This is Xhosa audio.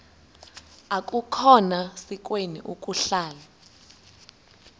akukhona sikweni ukuhlala